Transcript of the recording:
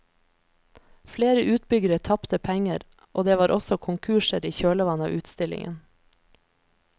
Flere utbyggere tapte penger, og det var også konkurser i kjølvannet av utstillingen.